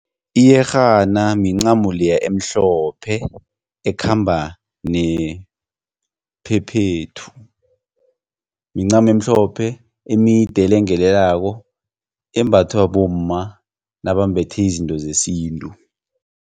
Iyerhana mincamo leya emhlophe ekhamba nephephethu mincamo emhlophe emide elengelelako embathwa bomma nabambethe izinto zesintu.